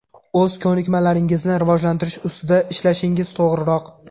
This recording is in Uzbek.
O‘z ko‘nikmalaringizni rivojlantirish ustida ishlashingiz to‘g‘riroq.